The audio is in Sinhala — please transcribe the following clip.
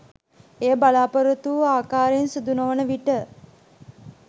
එය බලාපොරොත්තු වූ ආකාරයෙන් සිදුනොවන විට